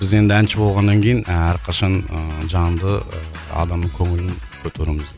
біз енді әнші болғаннан кейін і әрқашан ыыы жанды адамның көңілін көтеруіміз